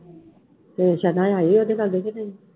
ਤੇ ਸਨਾ ਆਈ ਉਹਦੇ ਘਰ ਕਿ ਨਹੀਂ?